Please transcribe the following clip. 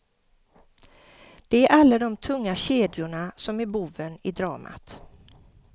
Det är alla de tunga kedjorna som är boven i dramat.